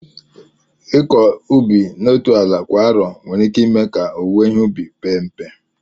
Ịkọ ubi n'otu ala kwa arọ nwere ike ime ka owuwe ihe ubi pee mpe